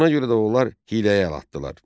Buna görə də onlar hiyləyə əl atdılar.